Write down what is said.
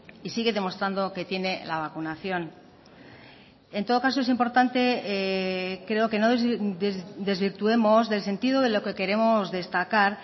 y sigue demostrando que tiene la vacunación en todo caso es importante creo que no desvirtuemos del sentido de lo que queremos destacar